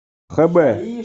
хб